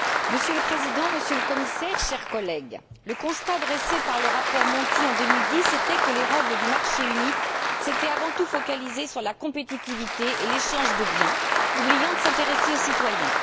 Monsieur le Président, Monsieur le Commissaire, chers collègues, le constat dressé par le rapport Monti en 2010 était que les règles du marché unique s'étaient avant tout focalisées sur la compétitivité et l'échange de biens, oubliant de s'intéresser aux citoyens.